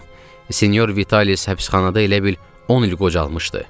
Sinyor Vitalis həbsxanada elə bil 10 il qocalmışdı.